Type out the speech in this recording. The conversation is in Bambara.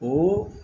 O